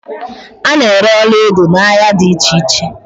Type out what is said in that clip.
A na-ere ọlaedo n'ahia dị iche iche.